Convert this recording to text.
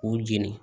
K'u jeni